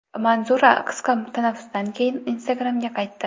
Manzura qisqa tanaffusdan keyin Instagram’ga qaytdi.